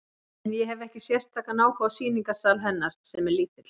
En ég hefi ekki sérstakan áhuga á sýningarsal hennar, sem er lítill.